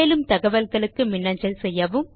மேலும் தகவல்களுக்கு மின்னஞ்சல் செய்யவும்